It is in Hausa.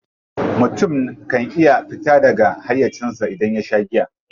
Mutum kan iya fita daga hayyacinsa idan ya sha giya.